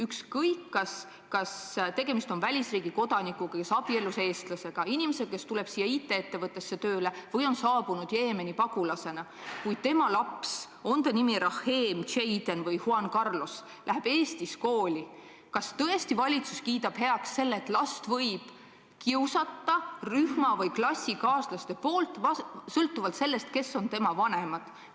Ükskõik, kas tegemist on välisriigi kodanikuga, kes abiellus eestlasega, inimesega, kes tuleb siia IT-ettevõttesse tööle, või Jeemeni pagulasega, kuid kui tema laps – on ta nimi Raheem, Jaden või Juan Carlos – läheb Eestis kooli, siis kas valitsus tõesti kiidab heaks selle, et rühma- või klassikaaslased võivad last kiusata sõltuvalt sellest, kes on tema vanemad?